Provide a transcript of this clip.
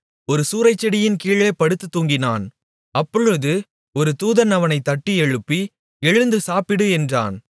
ஒரு சூரைச்செடியின்கீழேப் படுத்துத் தூங்கினான் அப்பொழுது ஒரு தூதன் அவனைத் தட்டி எழுப்பி எழுந்து சாப்பிடு என்றான்